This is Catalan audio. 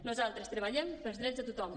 nosaltres treballem pels drets de tothom